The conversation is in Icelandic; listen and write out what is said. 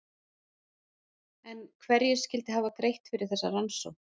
En hverjir skyldu hafa greitt fyrir þessa rannsókn?